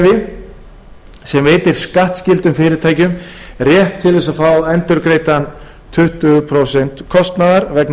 endurgreiðslukerfi sem veitir skattskyldum fyrirtækjum rétt til þess að fá endurgreidd tuttugu prósent kostnaðar vegna